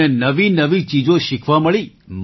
અમને નવીનવી ચીજો શીખવા મળી